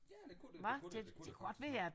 Ja det kunne det det kunne det det kunne det godt